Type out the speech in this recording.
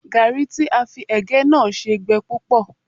Gàárì tí a fi ẹ̀gẹ́ náà ṣe gbẹ púpọ̀